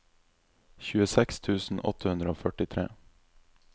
tjueseks tusen åtte hundre og førtitre